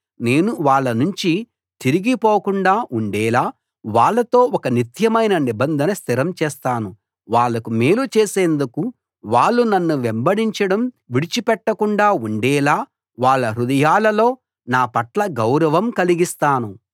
నేను వాళ్ళ నుంచి తిరిగిపోకుండా ఉండేలా వాళ్లతో ఒక నిత్యమైన నిబంధన స్థిరం చేస్తాను వాళ్లకు మేలు చేసేందుకు వాళ్ళు నన్ను వెంబడించడం విడిచిపెట్టకుండా ఉండేలా వాళ్ళ హృదయాల్లో నా పట్ల గౌరవం కలిగిస్తాను